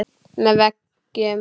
Með veggjum